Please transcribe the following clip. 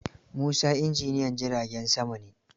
Musa injinyan jiragen sama ne.